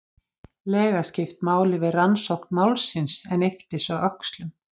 lega skipt máli við rannsókn málsins en yppti svo öxlum.